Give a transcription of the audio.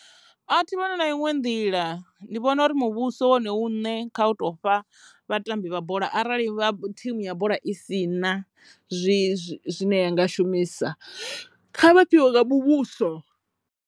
A thi vhoni na iṅwe nḓila ndi vhona uri muvhuso wone une kha u tou fha vhatambi vha bola arali vha thimu ya bola i si na zwi zwine ya nga shumisa kha vha fhiwe nga muvhuso.